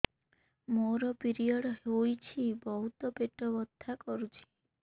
ମୋର ପିରିଅଡ଼ ହୋଇଛି ବହୁତ ପେଟ ବଥା କରୁଛି